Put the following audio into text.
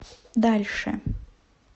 дальше